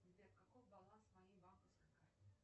сбер какой баланс моей банковской карты